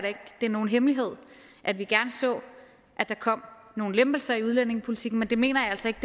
det er nogen hemmelighed at vi gerne så at der kom nogle lempelser i udlændingepolitikken men det mener jeg altså ikke